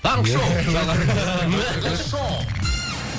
таңғы шоу